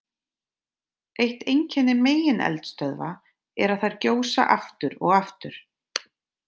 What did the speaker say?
Eitt einkenni megineldstöðva er að þær gjósa aftur og aftur.